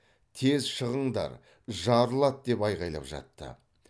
тез шығыңдар жарылады деп айқайлап жатты